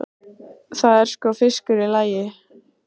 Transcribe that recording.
Það er sko fiskur í lagi.